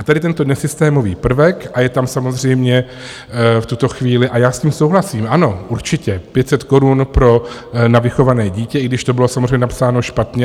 A tady tento nesystémový prvek, a je tam samozřejmě v tuto chvíli, a já s tím souhlasím, ano, určitě, 500 korun na vychované dítě, i když to bylo samozřejmě napsáno špatně.